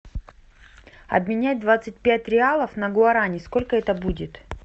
обменять двадцать пять реалов на гуарани сколько это будет